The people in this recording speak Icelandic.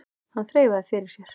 Hann þreifaði fyrir sér.